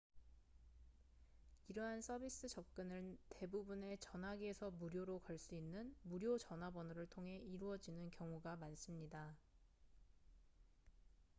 이러한 서비스 접근은 대부분의 전화기에서 무료로 걸 수 있는 무료전화 번호를 통해 이루어지는 경우가 많습니다